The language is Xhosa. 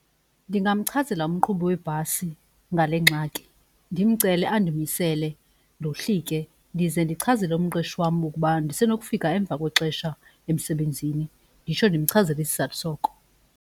Ndingamchazela umqhubi webhasi ngale ngxaki ndimcele andimisele ndohlike. Ndize ndichazele umqeshi wam ukuba ndisenokufika emva kwexesha emsebenzini, nditsho ndimchazele isizathu soko.